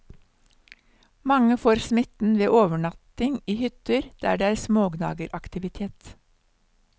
Mange får smitten ved overnatting i hytter der det er smågnageraktivitet.